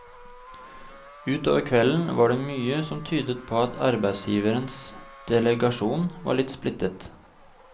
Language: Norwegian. Ut over kvelden var det mye som tydet på at arbeidsgivernes delegasjon var litt splittet.